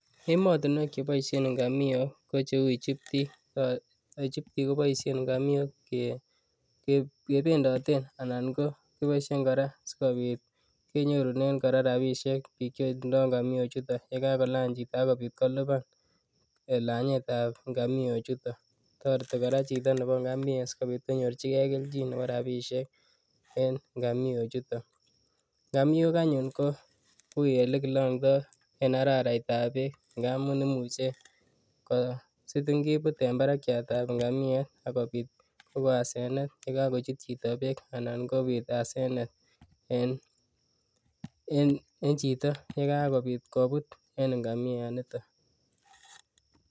Emotinwek cheboishen ng'amiok ko cheuu Egypt, ko Egypt koboishen ng'amiok kebendoten anan kora keboishen sikobit kenyorunen rabishek biik chetindo ng'amio chuton yekakolany chito ak kobiit koliban langetab ngamio chuton, toreti kora chito neboo ng'amiet sikobiit konyorchike kelchin neboo rabishek en ng'amio chuton, ng'amiok anyun ko uuii elekilongto en araraitab beek ng'amun imuche ko sitin kibuut en barakiatab ng'amiet ak kobiit kokon asenet yekokochut chito beek anan kobiit asenet en chito yekakobit kobut en ng'amia niton.